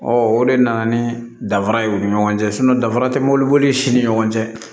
Ɔ o de nana ni danfara ye u ni ɲɔgɔn cɛ danfara tɛ mobiliboli sini ni ɲɔgɔn cɛ